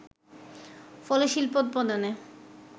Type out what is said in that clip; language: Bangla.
ফলে শিল্পোৎপাদনে